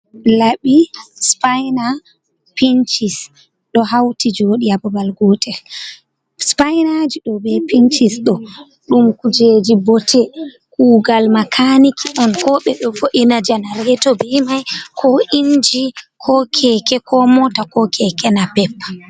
Laɓi, spina, pinchis do hauti jodi hababal gotel spainaji do be pincisdo dum kujeji botte kugal makaniki on ko be do vo’ina janareto ji be mai ko inji, ko keke, ko mota, ko keke napep.